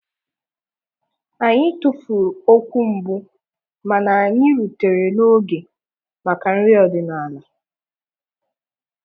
Anyị tụfuru okwu mbụ mana anyị rutere n'oge maka nri ọdịnala